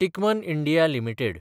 Timken India limited